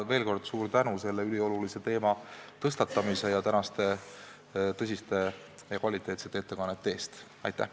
Ja veel kord suur tänu selle üliolulise teema tõstatamise ja tänaste tõsiste ja sisukate ettekannete eest!